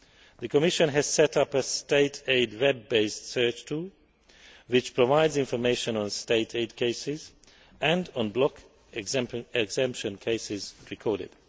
The Commission has set up a State aid web based search tool which provides information on State aid cases and on block exemption cases recorded.